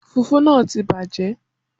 Fùfú náà ti bàjẹ́